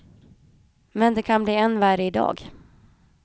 Men det kan bli än värre i dag.